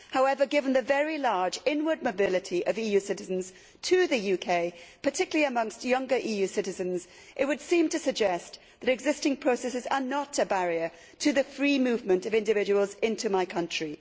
However, given the very large inward mobility of EU citizens to the UK, particularly amongst younger EU citizens, this would seem to suggest that existing processes are not a barrier to the free movement of individuals into my country.